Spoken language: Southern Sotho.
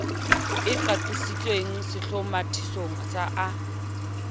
e qaqisitsweng sehlomathisong sa a